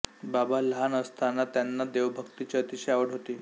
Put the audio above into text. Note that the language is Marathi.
बाबा लहान असताना त्यांना देवभक्तीची अतिशय आवड होती